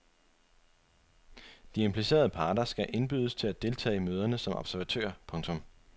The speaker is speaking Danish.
De implicerede parter skal indbydes til at deltage i møderne som observatører. punktum